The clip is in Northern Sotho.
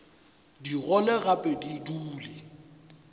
di gole gape di dule